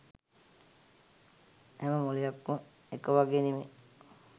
හැම මොලයක්ම එක වගේ නෙමේ.